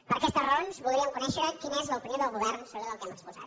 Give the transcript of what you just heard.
per aquestes raons voldríem conèixer quina és l’opinió del govern sobre tot el que hem exposat